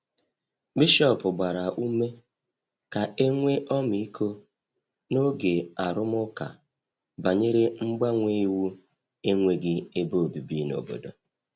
Bishọp gbara ume ka e nwee ọmịiko n’oge arụmụka banyere mgbanwe iwu enweghị ebe obibi n’obodo.